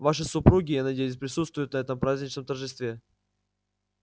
ваши супруги я надеюсь присутствуют на этом праздничном торжестве